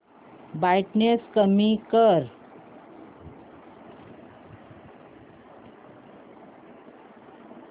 brightness कमी कर